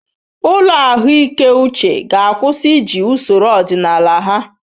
Ụlọ ahụike uche ga-akwụsị iji usoro ọdịnala ha.